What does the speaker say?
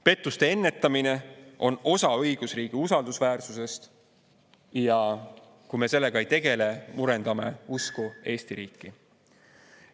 Pettuste ennetamine on osa õigusriigi usaldusväärsusest ja kui me sellega ei tegele, murendame usku Eesti riiki.